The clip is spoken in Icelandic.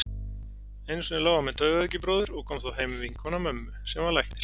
Einu sinni lá hann með taugaveikibróður og kom þá heim vinkona mömmu, sem var læknir.